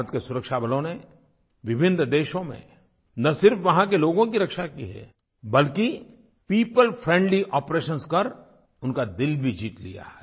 भारत के सुरक्षा बलों ने विभिन्न देशों में न सिर्फ वहाँ के लोगों की रक्षा की है बल्कि पियोपल फ्रेंडली आपरेशंस कर उनका दिल भी जीत लिया है